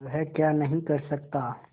वह क्या नहीं कर सकता